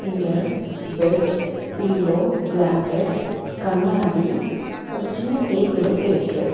இங்க bed pillow blanket கண்ணாடி ஒரு சின்ன ஒரு டேபிளு இருக்கு.